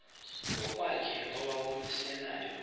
ngokwakhe owawumise layo